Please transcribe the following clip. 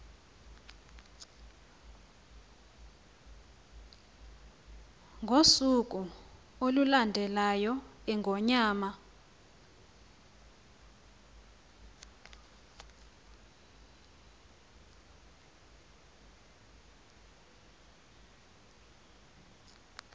ngosuku olulandelayo iingonyama